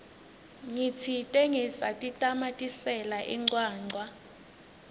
ngitsite ngisatitamatisela incwancwa